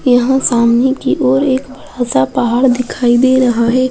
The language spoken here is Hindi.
यहाँ सामने की और एक बड़ा-सा पहाड़ दिखाई दे रहा रहा है।